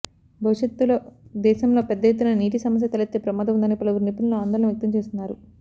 భవిష్యత్తులో దేశంలో పెద్ద ఎత్తున నీటి సమస్య తలెత్తే ప్రమాదం ఉందని పలువురు నిఫుణులు ఆందోళన వ్యక్తం చేస్తున్నారు